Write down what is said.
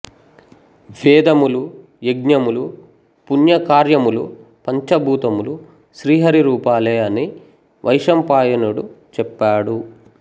వేదములు యజ్ఞములు పుణ్యకార్యములు పంచభూతములు శ్రీహరి రూపాలే అని వైశంపాయనుడు చెప్పాడు